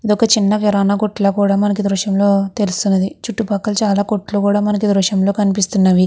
ఇది వక చిన్న కిరాణా కొట్టు లా కూడా మనకి ఈ దృశ్యం లో తెలుస్తున్నది చుట్టూ పక్కల చాలా కొట్లు కూడా మనకి ఈ దృశ్యం లో కనిపిస్తున్నవి.